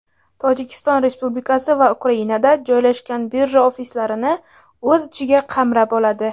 Tojikiston Respublikasi va Ukrainada joylashgan birja ofislarini o‘z ichiga qamrab oladi.